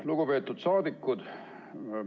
Lugupeetud saadikud!